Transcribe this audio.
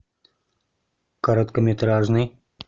короткометражный